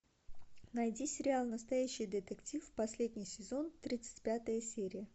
найди сериал настоящий детектив последний сезон тридцать пятая серия